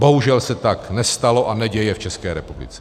Bohužel se tak nestalo a neděje v České republice.